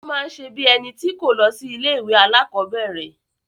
Ó máa n ṣe bí í ẹni tí kò lọ sí ilé ìwé alákọ̀berẹ̀.